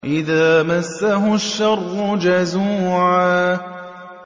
إِذَا مَسَّهُ الشَّرُّ جَزُوعًا